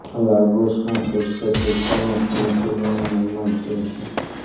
લાગોસના Festac વિસ્તારમાં ઘણી ફિલ્મોનું નિર્માણ થયું છે